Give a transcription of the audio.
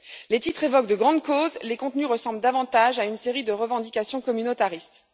Les titres évoquent de grandes causes, les contenus ressemblent davantage à une série de revendications communautaristes.